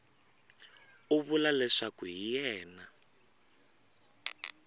u vula leswaku hi yena